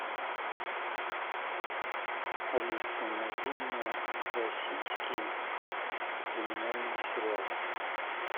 алиса найди мне российские криминальные сериалы